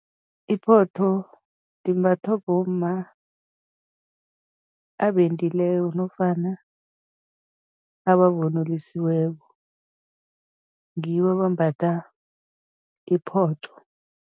Iphotho limbathwa bomma abendileko nofana abavunulisiweko, ngibo abambatha iphotho.